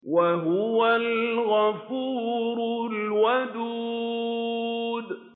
وَهُوَ الْغَفُورُ الْوَدُودُ